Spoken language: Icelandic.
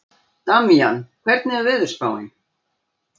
Damjan, hvernig er veðurspáin?